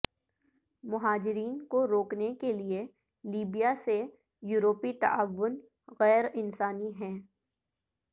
مہاجرین کو روکنے کے لیے لیبیا سے یورپی تعاون غیر انسانی ہے